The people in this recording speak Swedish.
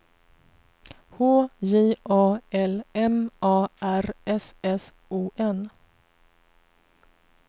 H J A L M A R S S O N